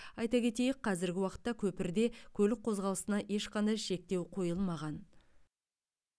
айта кетейік қазіргі уақытта көпірде көлік қозғалысына ешқандай шектеу қойылмаған